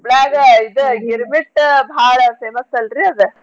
ಹುಬ್ಲ್ಯಾಗ ಇದ್ ಗೀರ್ಮಿಟ್ ಭಾಳ famous ಅಲ್ರೀ ಅದ.